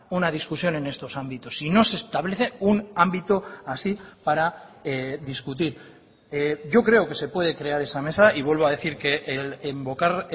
una discusión en estos ámbitos si no se establece un ámbito así para discutir yo creo que se puede crear esa mesa y vuelvo a decir que invocar